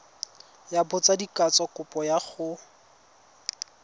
ya botsadikatsho kopo ya go